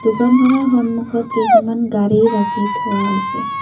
দোকানখনৰ সন্মুখত কেইখনমান গাড়ী ৰাখি থোৱা হৈছে।